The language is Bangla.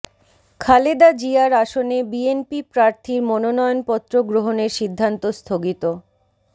খালেদা জিয়ার আসনে বিএনপি প্রার্থীর মনোনয়নপত্র গ্রহণের সিদ্ধান্ত স্থগিত